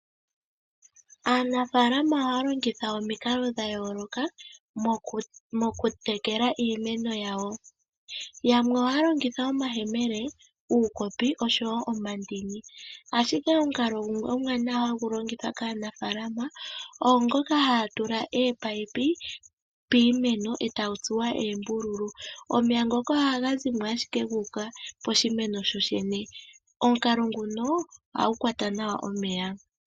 Aanafalama ohaya longitha omikalo dha yooloka mokutekela iimeno yawo yamwe ohaya longitha omayemele ,uukopi oshowo omandini . Ashike Omukalo gumwe omuwanawa hagu longithwa kaanafalama ongoka haa tula eepipi piimeno etadhi tsuwa oombululu omeya ngoka ohazimo ashike guuka poshimeno po pwene omukalo nguno ohagu kwata nawa omeya.